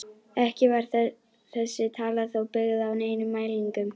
Ekki var þessi tala þó byggð á neinum mælingum.